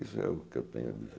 Isso é o que eu tenho a dizer.